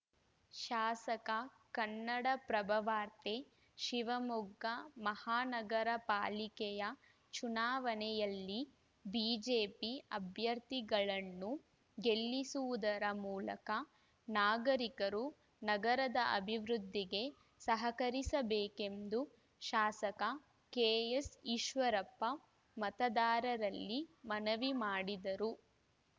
ಶಾಸಕ ಕನ್ನಡಪ್ರಭವಾರ್ತೆ ಶಿವಮೊಗ್ಗ ಮಹಾನಗರ ಪಾಲಿಕೆಯ ಚುನಾವಣೆಯಲ್ಲಿ ಬಿಜೆಪಿ ಅಭ್ಯರ್ಥಿಗಳನ್ನು ಗೆಲ್ಲಿಸುವುದರ ಮೂಲಕ ನಾಗರಿಕರು ನಗರದ ಅಭಿವೃದ್ಧಿಗೆ ಸಹಕರಿಸಬೇಕೆಂದು ಶಾಸಕ ಕೆಎಸ್‌ ಈಶ್ವರಪ್ಪ ಮತದಾರರಲ್ಲಿ ಮನವಿ ಮಾಡಿದರು